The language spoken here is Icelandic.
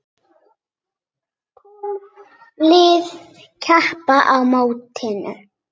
Tólf lið keppa á mótinu.